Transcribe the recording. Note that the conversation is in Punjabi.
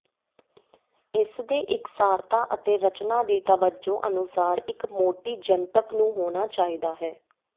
ਇਸ ਦੇ ਇਕਸਾਰਤਾ ਅਤੇ ਰਚਨਾ ਦੀ ਤਵੱਜੋ ਅਨੁਸਾਰ ਇੱਕ ਮੋਟੀ ਜਨਤਕ ਨੂੰ ਹੋਣਾ ਚਾਹੀਦਾ ਹੈ